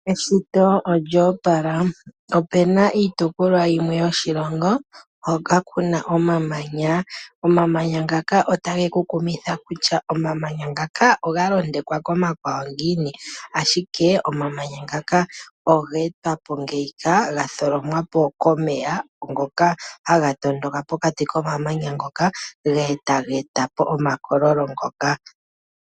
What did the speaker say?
Eshito olyo opala. Opuna iitopolwa yimwe yoshilongo hoka kuna omamanya. Omamanya ngaka ota ge ku kumitha kutya oga londekwako komakwawo ngiini, ashike omamanya ngaka oga etwa po ngeyika ga etwa po komeya ngoka ha ga tondoka pokati komamanya ngoka, e ta ga etapo omakololo ngoka.